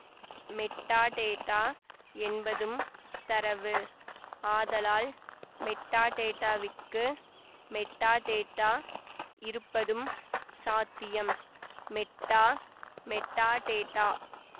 metadata என்பதும் தரவு ஆதலால் மெட்டாடேட்டாவிற்கு மெட்டாடேட்டா இருப்பதும் சாத்தியம் மெட்டா மெட்டாடேட்டா